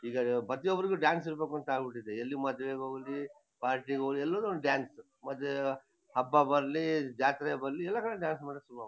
ಈಗ ಪ್ರತಿಯೊಬ್ರಿಗೂ ಡಾನ್ಸ್ ಇರ್ಬೇಕಂತ ಆಗ್ಬಿಟ್ಟಿದೆ ಎಲ್ ಮದ್ವೇಗ್ ಹೋಗ್ಲಿ ಪಾರ್ಟಿಗ್ ಹೋಗ್ಲಿ ಎಲ್ಲೋದ್ರು ಒಂದ್ ಡಾನ್ಸ್ ಹಬ್ಬ ಬರ್ಲಿ ಜಾತ್ರೆ ಬರ್ಲಿ ಎಲ್ಲ ಕಡೆ ಡಾನ್ಸ್ ಮಾಡಕೆ ಶುರು ಆಗ್ --